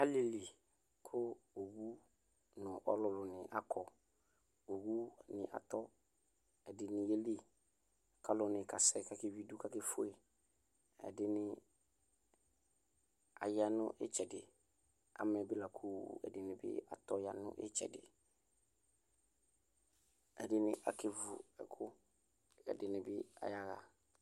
ɛƒʋ yi atike atike wani abʋ alʋ ɛna dʋɛƒɛ alʋviɛla alʋɛdi yabevʋ atike ɛdi